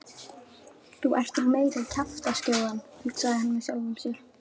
Þú ert nú meiri kjaftaskjóðan hugsaði hann með sjálfum sér.